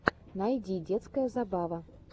найди детская забава